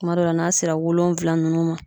Kuma dɔ la, n'a sera wolonwula ninnu ma